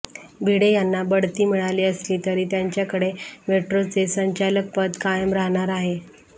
भिडे यांना बढती मिळाली असली तरी त्यांच्याकडे मेट्रोचे संचालकपद कायम राहणार आहे